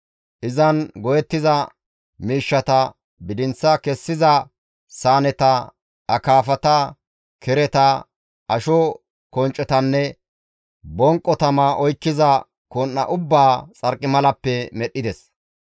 Izan go7ettiza miishshata, bidinth kessiza saaneta, akaafata, kereta, asho konccetanne bonqo tama oykkiza kon7a ubbaa xarqimalappe medhdhides.